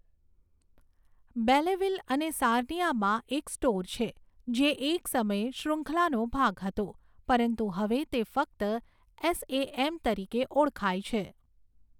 Belleville અને સાર્નિયામાં એક સ્ટોર છે, જે એક સમયે શૃંખલાનો ભાગ હતો, પરંતુ હવે તે ફક્ત એસએએમ તરીકે ઓળખાય છે.